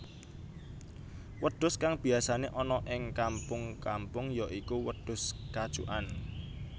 Wedhus kang biyasané ana ing kampung kampung ya iku wedhus kacukan